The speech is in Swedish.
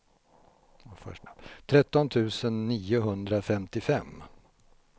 tretton tusen niohundrafemtiofem